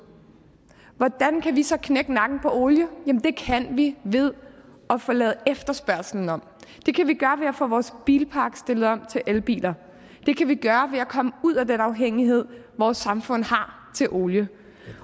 hvordan kan vi så klare knække nakken på olie jamen det kan vi ved at få lavet efterspørgslen om det kan vi gøre ved at få vores bilpark stillet om til elbiler det kan vi gøre ved at komme ud af den afhængighed vores samfund har af olie